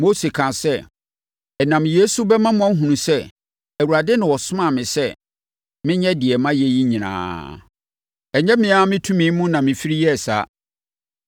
Mose kaa sɛ, “Ɛnam yei so bɛma moahunu sɛ, Awurade na ɔsomaa me sɛ menyɛ deɛ mayɛ yi nyinaa. Ɛnyɛ me ara me tumi mu na mefiri yɛɛ saa.